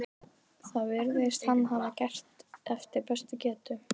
Það virðist hann hafa gert eftir bestu getu.